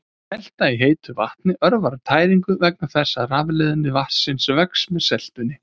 Selta í heitu vatni örvar tæringu vegna þess að rafleiðni vatnsins vex með seltunni.